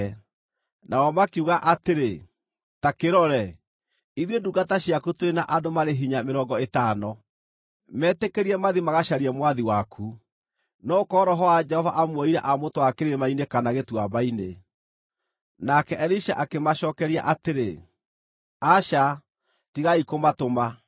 Nao makiuga atĩrĩ, “Ta kĩrore, ithuĩ ndungata ciaku tũrĩ na andũ marĩ hinya mĩrongo ĩtano. Metĩkĩrie mathiĩ magacarie mwathi waku. No gũkorwo Roho wa Jehova amuoire aamũtwara kĩrĩma-inĩ kana gĩtuamba-inĩ.” Nake Elisha akĩmacookeria atĩrĩ, “Aca, tigai kũmatũma.”